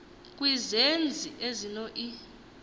kwizenzi ezino i